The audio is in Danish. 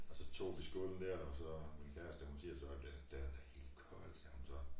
Og så tog vi skålen dér og så min kæreste hun siger så den den er helt kold siger hun så